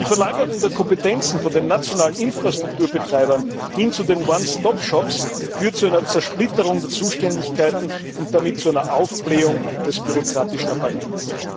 Die Verlagerung der Kompetenzen von den nationalen Infrastrukturbetreibern hin zu den One Stop Shops führt zu einer Zersplitterung der Zuständigkeiten und damit zu einer Aufblähung des bürokratischen Apparats.